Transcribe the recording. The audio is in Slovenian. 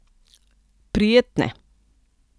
Prijetne.